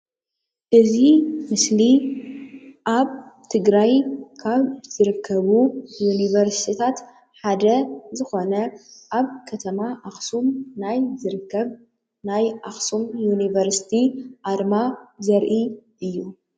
እዚ ምስሊ ኣብ ትግረይ ካብ ዝርከቡ ዩኒቨርሲቲታት ሓደ ዝኮነ ኣብ ከተማ አክሱም ናይ ዝርከብ ናይ ኣክሱም ዩኒቨርሲቲ ኣርማ ዘርኢ እዩ።